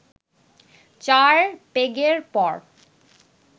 চার পেগের পর